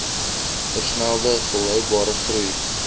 versnelde volhoubare groei